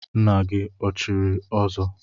Nna gị o chiri ọzọ?